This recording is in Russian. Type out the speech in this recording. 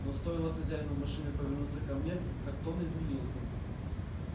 но стоило хозяину машины повернуться ко мне как тон изменился